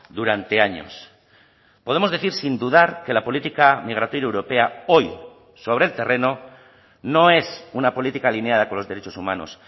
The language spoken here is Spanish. durante años podemos decir sin dudar que la política migratoria europea hoy sobre el terreno no es una política alineada con los derechos humanos